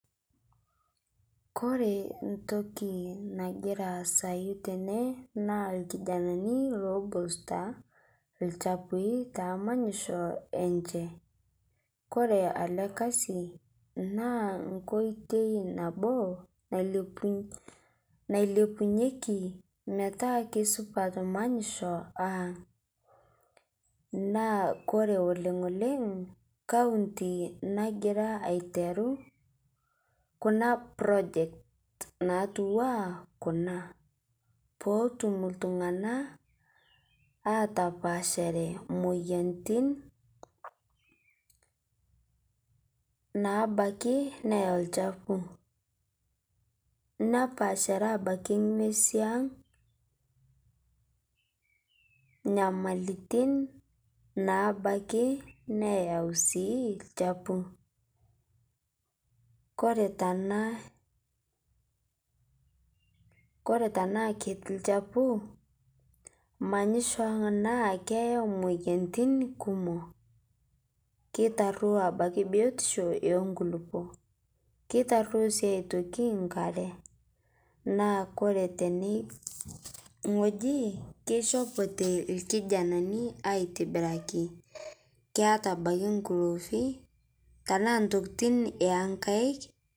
Kore ntoki nagiraa aasayu tene naa lkijananii lobosutaa lchapui te manyishoo enchee. Kore ale kazi naa nkoitei naboo nailepunyekii metaa keisupat manyishoo ang' naa Kore oleng' oleng' kauntii nagiraa aiteru kuna projects natuwaa Kuna. Pootum ltung'ana atapaashare moyanitin ntabakii neyau lchapuu nepaashare abaki ng'wezi ang' nabaki sii neyau lchapuu. Kore tana, koree tanaa keti lchapuu manyishoo ang' naa keyau moyanitin kumoo, keitaruo abaki biotisho enkulipoo keitaruo sii otoki nkaree naa kore tene ng'oji keishopotee lkijananii aitibiraki keata abaki ng'uloovi tanaa ntokitin enkaik.